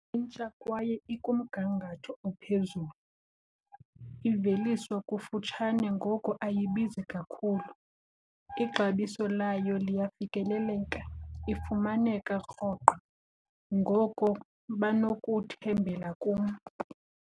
Intsha kwaye ikumgangatho ophezulu. Iveliswa kufutshane ngoko ayibizi kakhulu, ixabiso layo liyafikeleleka ifumaneka rhoqo. Ngoko banokuthembela kum.